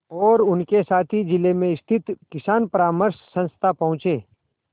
और उनके साथी जिले में स्थित किसान परामर्श संस्था पहुँचे